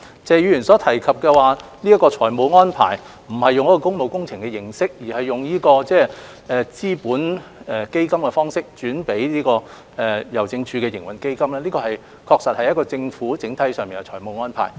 謝議員所提及的財務安排，不是採用工務工程項目的注資形式，而是以資本投資基金撥款予郵政署營運基金，這確實是政府整體上的財務安排。